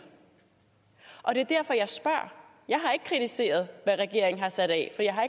det er derfor jeg spørger jeg har ikke kritiseret hvad regeringen har sat af for jeg har